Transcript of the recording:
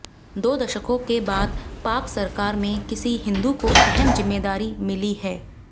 दो दशकों के बाद पाक सरकार में किसी हिंदू को अहम जिम्मेदारी मिली है